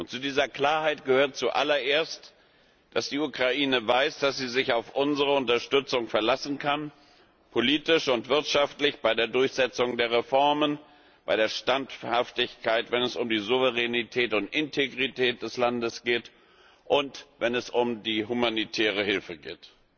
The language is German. Zu dieser Klarheit gehört zu allererst, dass die Ukraine weiß, dass sie sich auf unsere Unterstützung verlassen kann, politisch und wirtschaftlich bei der Durchsetzung der Reformen, bei der Standhaftigkeit, wenn es um die Souveränität und Integrität des Landes geht und wenn es um die humanitäre Hilfe geht.